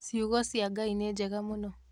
Ciugo cia Ngai nĩ njega mũno.